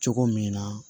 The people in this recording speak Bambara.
Cogo min na